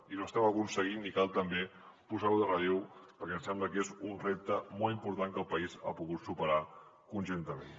i ho estem aconseguint i cal també posar ho en relleu perquè ens sembla que és un repte molt important que el país ha pogut superar conjuntament